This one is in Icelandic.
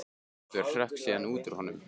Guð minn almáttugur hrökk síðan út úr honum.